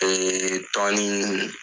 Ee tɔɔnin